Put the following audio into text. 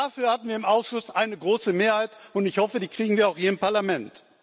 Dafür hatten wir im Ausschuss eine große Mehrheit, und ich hoffe, die kriegen wir auch hier im Parlament.